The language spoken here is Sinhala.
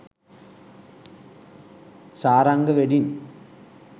saranga wedding